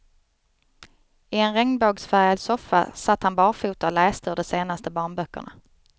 I en regnbågsfärgad soffa satt han barfota och läste ur de senaste barnböckerna.